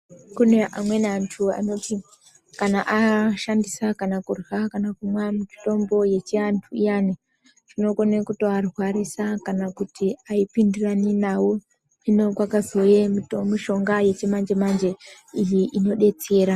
Kune amweni antu anoti kana ashandisa mitombo yechiantu kana kurya kana kumwa ayipindirani navo hino kwakazouya mishonga yechimanje-manje inodetsera.